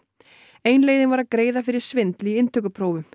ein leiðin var að greiða fyrir svindl í inntökuprófum